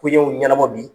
Koɲɛw ɲɛnabɔ bi